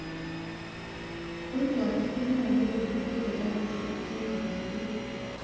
Kurgotik konyolu kong'et ko kerotin en kotuugul.